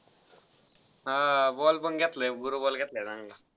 हा. ball पण घेतलाय. बरो ball घेतलाय चांगला.